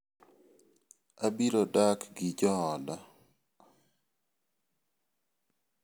Abiro dak gi jooda.